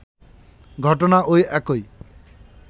ঘটনা ওই একই